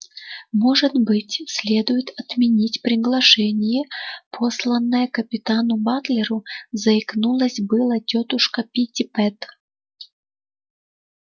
может быть следует отменить приглашение посланное капитану батлеру заикнулась было тётушка питтипэт